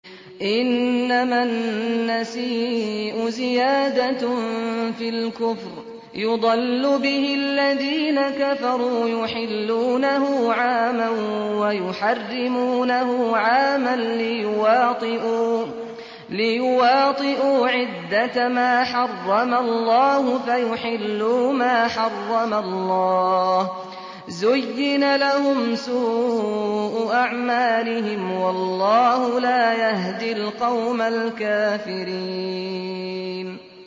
إِنَّمَا النَّسِيءُ زِيَادَةٌ فِي الْكُفْرِ ۖ يُضَلُّ بِهِ الَّذِينَ كَفَرُوا يُحِلُّونَهُ عَامًا وَيُحَرِّمُونَهُ عَامًا لِّيُوَاطِئُوا عِدَّةَ مَا حَرَّمَ اللَّهُ فَيُحِلُّوا مَا حَرَّمَ اللَّهُ ۚ زُيِّنَ لَهُمْ سُوءُ أَعْمَالِهِمْ ۗ وَاللَّهُ لَا يَهْدِي الْقَوْمَ الْكَافِرِينَ